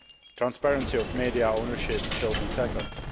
Transparency of media ownership will be tackled.